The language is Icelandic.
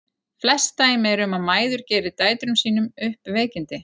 Flest dæmi eru um að mæður geri dætrum sínum upp veikindi.